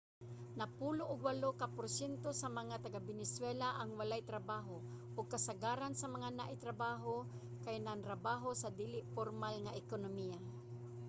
napulo og walo ka porsyento sa mga taga-venezuela ang walay trabaho ug kasagaran sa mga naay trabaho kay nagtrabaho sa dili pormal nga ekonomiya